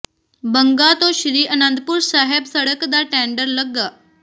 ਬੰਗਾ ਤੋਂ ਸ੍ਰੀ ਆਨੰਦਪੁਰ ਸਾਹਿਬ ਸੜਕ ਦਾ ਟੈਂਡਰ ਲੱਗਾ